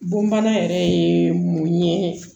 Bon bana yɛrɛ ye mun ye